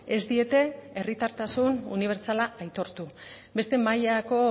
ez diete herritartasun unibertsala aitortu beste mailako